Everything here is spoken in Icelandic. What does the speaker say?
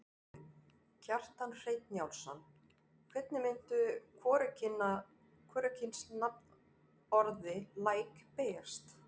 Kjartan Hreinn Njálsson: Hvernig myndi hvorugkynsnafnorðið læk beygjast?